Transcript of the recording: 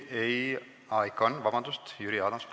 Jüri Adams, palun!